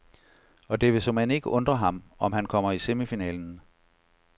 Og det vil såmænd ikke undre ham, om han kommer i semifinalen.